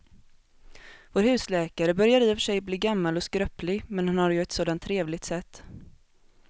Vår husläkare börjar i och för sig bli gammal och skröplig, men han har ju ett sådant trevligt sätt!